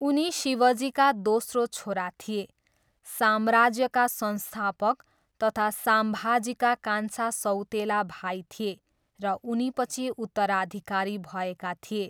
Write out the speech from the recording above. उनी शिवजीका दोस्रो छोरा थिए, साम्राज्यका संस्थापक तथा साम्भाजीका कान्छा सौतेला भाइ थिए र उनीपछि उत्तराधिकारी भएका थिए।